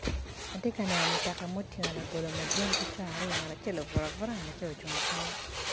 Ati ka neno mutoka mutingo labolo madwong ki co aryo ngat acel obuto abuta, ngat acel ocung acunga.